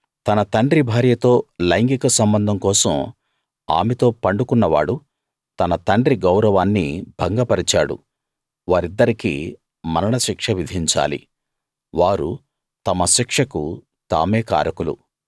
తన తండ్రి భార్యతో లైంగిక సంబంధం కోసం ఆమెతో పండుకున్న వాడు తన తండ్రి గౌరవాన్ని భంగపరిచాడు వారిద్దరికీ మరణశిక్ష విధించాలి వారు తమ శిక్షకు తామే కారకులు